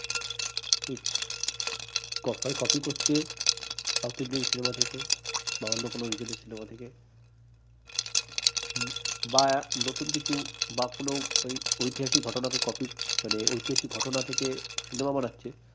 copy করছে south indian cinema থেকে বা অন্য কোনো region এর cinema থেকে বা নতুন কিছু বা কোন ঐতিহাসিক ঘটনাকে copy মানে ঐতিহাসিক ঘটনা থেকে cinema বানাচ্ছে